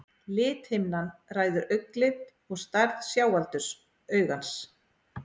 Lithimnan ræður augnlit og stærð sjáaldurs augans.